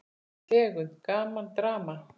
Tegund: Gaman, Drama